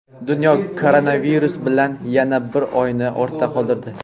Dunyo koronavirus bilan yana bir oyni ortda qoldirdi.